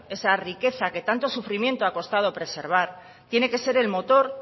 esa riqueza que tanto sufrimiento ha costado preservar tiene que ser el motor